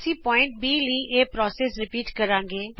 ਅਸੀਂ ਬਿੰਦੂ B ਲਈ ਪ੍ਰਕ੍ਰਿਆ ਦੋਹਰਾਉਂਦੇ ਹਾਂ